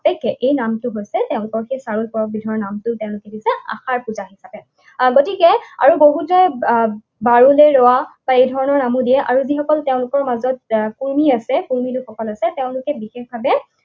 এতেকে এই নামটো হৈছে তেওঁলোকৰ সেই চাৰুল পৰৱবিধৰ নামটো তেওঁলোকে কি কৰিছে আশাৰ পূজা হিচাপে। গতিকে আৰু বহুতে ধৰণৰ নামো দিয়ে। আৰু যিসকল তেওঁলোকৰ মাজত কুৰ্মী আছে, কুৰ্মী লোকসকল আছে, তেওঁলোকে বিশেষভাৱে